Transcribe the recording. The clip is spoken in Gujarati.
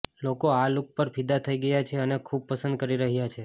લોકો આ લૂક પર ફિદા થઈ ગયા છે અને ખૂબ પસંદ કરી રહ્યા છે